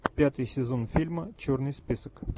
пятый сезон фильма черный список